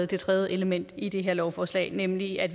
det tredje element i det her lovforslag nemlig at